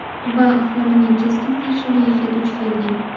Va aholining keskin qarshiligiga duch kelgan.